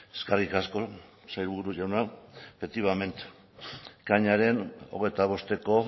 eskerrik asko sailburu jauna efectivamente ekainaren hogeita bosteko